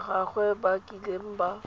wa gagwe ba kileng ba